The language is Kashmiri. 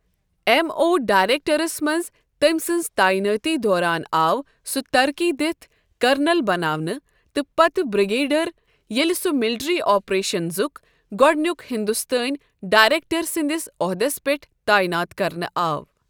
اٮ۪م او ڈایریکٹرٛس منٛز تٔمۍ سٕنٛزِتاینٲتی دوران آو سُہ ترقی دِتھ کرنل بناونہٕ تہٕ پتہٕ بِرٛگیڈیر ییٚلہِ سُہ مِلٹرٛی آپریشنزُک گۄڈنیُک ہِنٛدُستٲنۍ ڈایریکٹَر سندِس عۄہدَس پٮ۪ٹھ تعاینات کرنہٕ آو۔